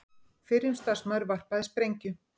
Fyrrum starfsmaður varpaði sprengju